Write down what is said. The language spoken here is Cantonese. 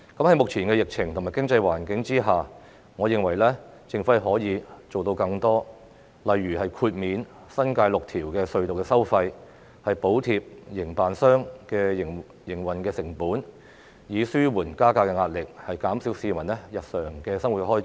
在目前疫情及經濟環境下，我認為政府可以做到更多，例如豁免新界6條隧道的收費，補貼營辦商的營運成本，以紓緩加價壓力，減少市民的日常生活開支。